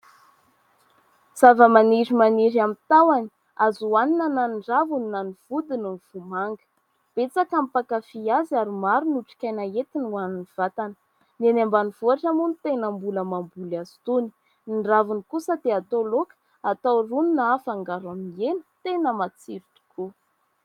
Zava-maniry maniry amin'ny tahony. Azo hoanina na ny raviny na ny vodiny ny vomanga. Betsaka ny mpakafy azy ary maro ny otrikaina entiny ho anin'ny vatana. Ny any ambanivohitra moa ny tena mbola mamboly azy itony. Ny raviny kosa dia atao laoka, atao rony na afangaro amin'ny hena tena matsiro tokoa.